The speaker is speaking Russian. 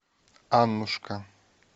аннушка